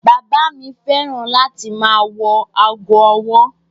Bàbá fẹ́ràn láti ma wọ ago ọwọ́.